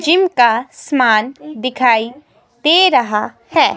Gym का समान दिखाई दे रहा है।